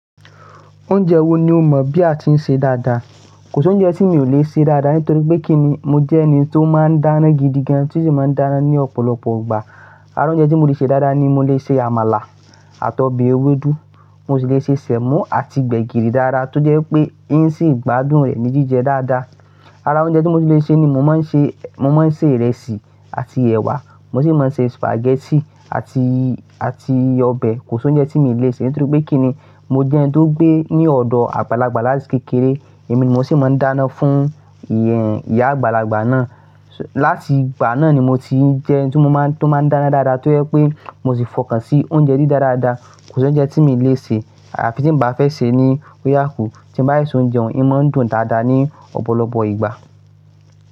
Oúnjẹ wo ni o mọ bí a ti ń ṣe dáadáa? Kò sí oúnjẹ tí mi ò le ṣe dáadáa nítorí pé kí ni, mo jẹ́ ẹni tó máa ń dáná gidigan tí ó de máa ń dáná ní ọ̀pọ̀lọpọ̀ ìgbà. Ara oúnjẹ tí mo ti lè ṣe dáadáa ni mo lè ṣe àmàlà àti ọbẹ̀ ewédú, mo sì lè ṣe sẹ̀mọ́ àti gbẹ̀gìrì dáadáa tó jẹ́ pé ẹ́ ń sì gbádùn rẹ̀ ní jíjẹ dáadáa. Ara oúnjẹ tí mo sì lè ṣe ni mo máa ń ṣe, mo máa ń ṣe ìrẹsì àti ẹ̀wà, mo sì máa ń ṣe spaghetti àti, àti ọbẹ̀. Kò sí oúnjẹ tí mi ò lè ṣe nítorí pé kí ni, mo jẹ́ ẹni tó gbé ní ọ̀dọ̀ àgbàlagbà láti kékeré, èmi ni mo sì máa ń dáná fún ìyá àgbàlagbà náà. Láti ìgbà náà ni mo ti ń jẹ ẹni tí mo máa, tó máa ń dáná dáadáa tó jẹ́ pé mo sì fọkàn sí oúnjẹ dí dáadáa. Kò sí oúnjẹ tí mi ò lè ṣe àfi tí n bá fẹ́ sè ni ó yà kù, tí n bá si ṣóúnjẹ hun, ẹ máa dùn dáadáa ní ọ̀pọ̀lọpọ̀ ìgbà.